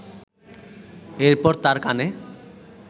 এরপর তার কানে